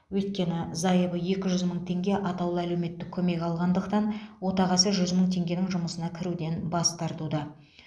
өйткені зайыбы екі жүз мың теңге атаулы әлеуметтік көмек алғандықтан отағасы жүз мың теңгенің жұмысына кіруден бас тартуда